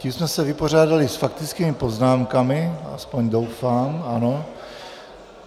Tím jsme se vypořádali s faktickými poznámkami, aspoň doufám, ano.